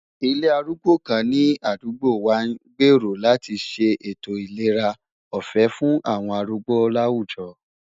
Ilé arúgbó kan ní àdúgbò wa n gbèrò láti ṣe ètò ìlera ọ̀fẹ́ fún àwọn arúgbó láwùjọ.